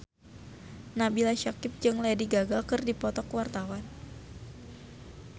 Nabila Syakieb jeung Lady Gaga keur dipoto ku wartawan